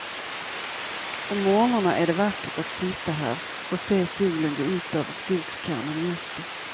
Om mornarna är det vackert att sitta här och se solen gå upp över skogskammen i öster.